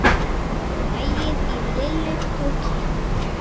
Maginn í Lillu tók kipp.